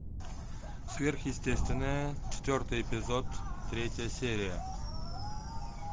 сверхъестественное четвертый эпизод третья серия